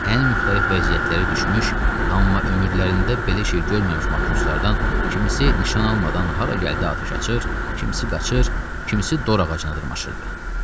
Ən müxtəlif vəziyyətlərə düşmüş, amma ömürlərində belə şey görməmiş matroslardan kimisi nişan almadan hara gəldi atəş açır, kimisi qaçır, kimisi dor ağacına dırmaşırdı.